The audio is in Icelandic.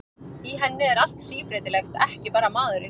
Í henni er allt síbreytilegt, ekki bara maðurinn.